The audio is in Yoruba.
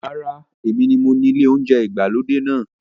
Rárá, èmi ni mo ni ilé oúnjẹ ìgbàlódé náà.